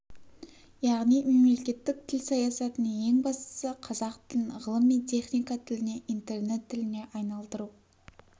яғни мемлекеттік тіл саясатының ең бастысы қазақ тілін ғылым мен техника тіліне интернет тіліне айналдыру